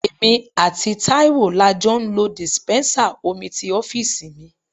Èmi àti Taiwo la jọ ń lo dispensa omi ti ọ́fíìsì mi.